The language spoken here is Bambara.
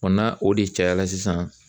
n'a o de cayara sisan